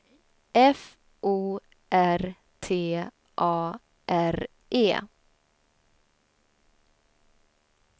F O R T A R E